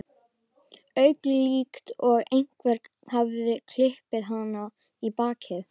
auka, líkt og einhver hafi klipið hana í bakið.